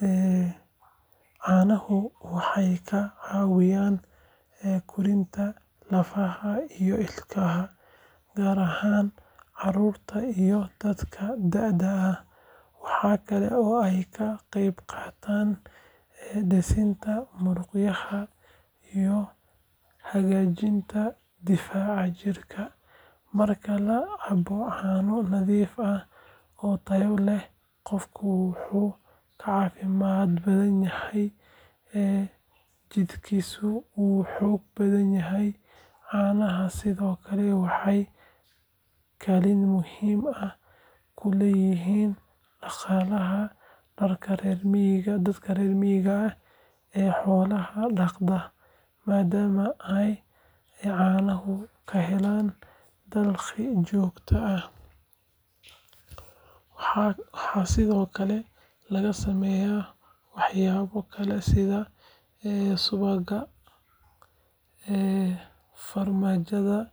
Caanuhu waxay ka caawiyaan koritaanka lafaha iyo ilkaha, gaar ahaan carruurta iyo dadka da’da ah. Waxa kale oo ay ka qayb qaataan dhisidda muruqyada iyo hagaajinta difaaca jirka. Marka la cabbo caano nadiif ah oo tayo leh, qofka wuu ka caafimaad badan yahay, jidhkiisuna wuu xoog badan yahay. Caanaha sidoo kale waxay kaalin muhiim ah ku leeyihiin dhaqaalaha dadka reer miyiga ah ee xoolaha dhaqda, maadaama ay caanaha ka helaan dakhli joogto ah. Waxaa sidoo kale laga sameeyaa waxyaabo kale sida subagga, farmaajada iyo.